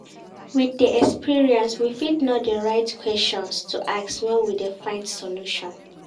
With the experience we fit know di right questions to ask when we dey find solution